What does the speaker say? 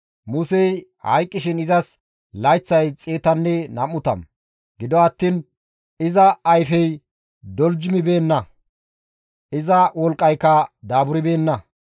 Musey hayqqishin izas layththay 120; gido attiin iza ayfey doljumibeenna; iza wolqqayka daaburbeenna.